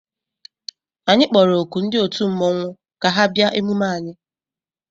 Anyị kpọrọ oku ndị otu mmọnwụ ka ha bịa emume anyị.